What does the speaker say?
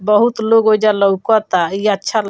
बहुत लोग ओइजा लउकता ई अच्छा --